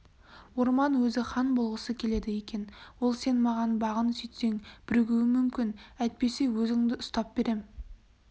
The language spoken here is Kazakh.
орман өзі хан болғысы келеді екен ол сен маған бағын сөйтсең бірігуім мүмкін әйтпесе өзіңді ұстап берем